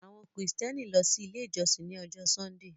Àwọn Kristiani lọ sí ilẹ̀ ijọsìn ní Ọ̀jọ̀ Sundee